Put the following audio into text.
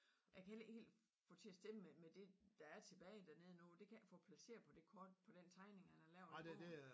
Ja kan heller ikke helt få det til at stemme med med det der er tilbage dernede nu det kan jeg ikke få placeret på det kort på den tegning han har lavet i bogen